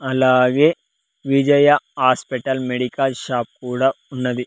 అలాగే Vijaya hospital medical shop కూడా ఉన్నది.